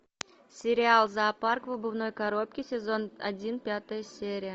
сериал зоопарк в обувной коробке сезон один пятая серия